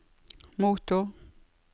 motor